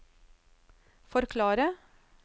forklare